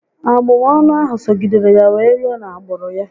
Abụmọnụ ahụ sogidere ya wee rue na agbụrụ ya